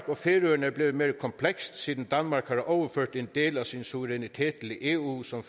og færøerne er blevet mere komplekst siden danmark har overført en del af sin suverænitet til eu som